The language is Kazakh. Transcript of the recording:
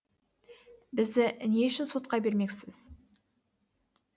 бізді не үшін сотқа бермексіз